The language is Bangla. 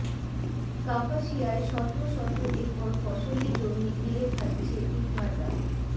কাপাসিয়ায় শত শত একর ফসলি জমি গিলে খাচ্ছে ইটভাটা